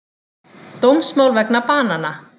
Dómsmál vegna banana